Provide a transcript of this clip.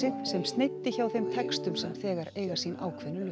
sem sneiddi hjá þeim textum sem þegar eiga sín ákveðnu lög